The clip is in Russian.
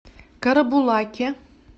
карабулаке